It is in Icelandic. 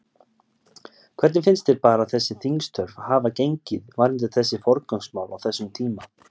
Hvernig finnst þér bara þessi þingstörf hafa gengið varðandi þessi forgangsmál á þessum tíma?